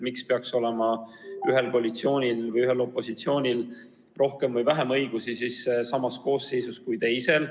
Miks peaks olema ühel koalitsioonil või ühel opositsioonil samas koosseisus olema rohkem või vähem õigusi kui teisel.